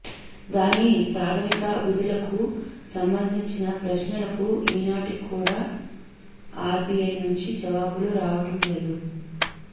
దాని ప్రాథ మిక విధులకు సంబంధించిన ప్రశ్నలకు ఈనాటి కూడా ఆర్బిఐ నుంచి జవాబులు రావటం లేదు